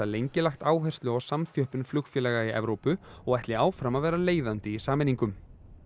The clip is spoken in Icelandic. lengi lagt áherslu á samþjöppun flugfélaga í Evrópu og ætli áfram að vera leiðandi í sameiningum